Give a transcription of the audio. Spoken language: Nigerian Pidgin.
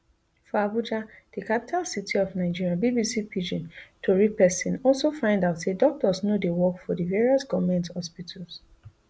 for abuja di capital city of nigeria bbc pidgin tori pesin also find out say doctors no dey work for di various goment hospitals